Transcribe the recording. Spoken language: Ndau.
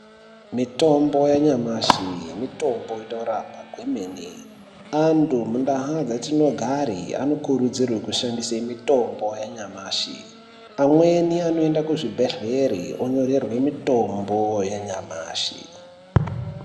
Mitombo yanyamashi mitombo inorapa kwemene , antu munda dzatinogari anokurudzirwa kushandise mutombo yanyamashi, amweni anoende kuzvibhedhleri onyorerwe mitombo yanyamashi